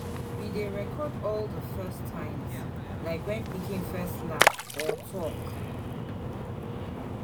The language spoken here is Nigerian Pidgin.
We dey record all di first times, like when pikin first laugh or talk.